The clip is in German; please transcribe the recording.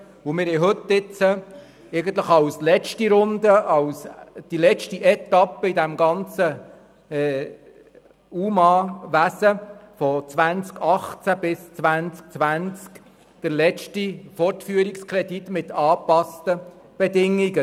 Wir haben heute eigentlich als letzte Runde oder letzte Etappe in diesem ganzen UMA-Wesen von 2018–2020 den letzten Fortführungskredit mit angepassten Bedingungen.